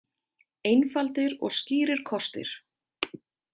Einfaldir og skýrir kostir.